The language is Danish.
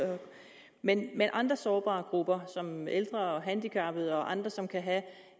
men andre sårbare grupper som ældre og handicappede og andre som kan have